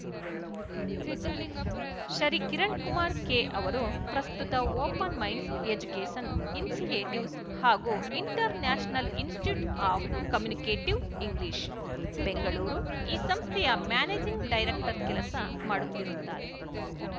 Shri Kiran Kumar K ಅವರು ಪ್ರಸ್ತುತ Open Minds Education Initiatives ಹಾಗೂ International Institute of Communicative English Bengaluru ಈ ಸಂಸ್ಥೆಯ ಮ್ಯಾನೇಜಿಂಗ್ ಡೈರೆಕ್ಟರ್ ಕೆಲಸ ಮಾಡುತ್ತಿರುತ್ತಾರೆ